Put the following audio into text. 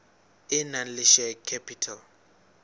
e nang le share capital